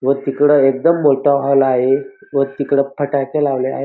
व तिकड एकदम मोठा हॉल आहे व तिकड फटाके लावले आहे.